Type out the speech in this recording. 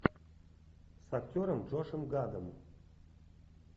с актером джошем гадом